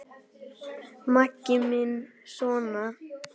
Maggi minn sona!